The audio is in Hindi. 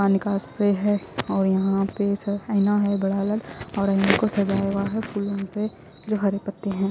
पाणी का स्प्रे है ओर यहा पे से आइना है बड़ा अलग आईने को सजाया है फूलो से जो हरे पत्ते है।